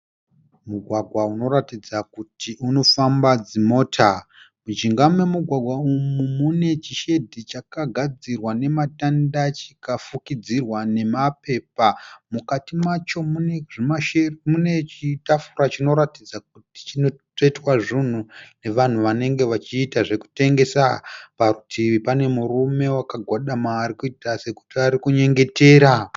Mugwagwa unoratidza kuti unofamba dzimota. Mujinga memugwagwa umu mune chishendi chakagadzirwa nematanda chikafukidzirwa nemapepa. Mukati macho mune chitafura chinoratidza kuti chinotsvetwa zvinhu nevanhu vanenge vachiita zvekutengesa. Parutivi pane murume wakagwadama arikuita sekuti arikunyengetera.